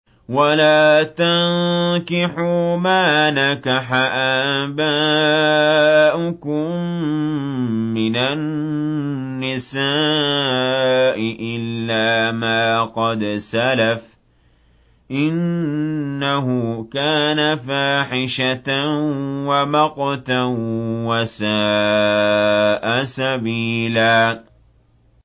وَلَا تَنكِحُوا مَا نَكَحَ آبَاؤُكُم مِّنَ النِّسَاءِ إِلَّا مَا قَدْ سَلَفَ ۚ إِنَّهُ كَانَ فَاحِشَةً وَمَقْتًا وَسَاءَ سَبِيلًا